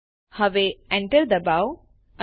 અર્ધવિરામ statement terminator તરીકે કામ કરે છે